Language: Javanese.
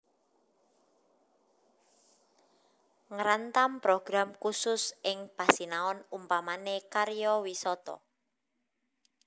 Ngrantam program khusus ing pasinaon umpamane karyawisata